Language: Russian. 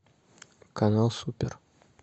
канал супер